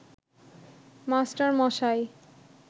master মশাই